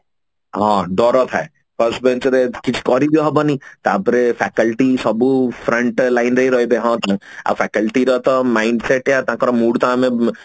ହଁ ଡର ଥାଏ first bench ରେ କିଛି କରି ବି ହବନି ତାପରେ faculty ସବୁ front line ରେ ହିଁ ରହିବେ ହଁ ତ ଆଉ faculty ର mindset ୟା ତାଙ୍କର mood ତ ଆମେ